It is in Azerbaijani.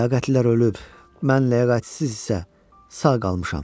Ləyaqətlilər ölüb, mən ləyaqətsiz isə sağ qalmışam.